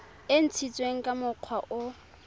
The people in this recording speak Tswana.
e ntshitsweng ka mokgwa o